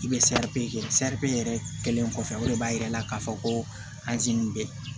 I bɛ kɛ yɛrɛ kɛlen kɔfɛ o de b'a yira k'a fɔ ko nin bɛ